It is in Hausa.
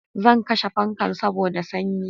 Zan kashe fankan saboda sanyi